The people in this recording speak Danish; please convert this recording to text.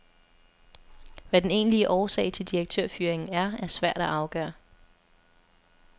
Hvad den egentlige årsag til direktørfyringen er, er svært at afgøre.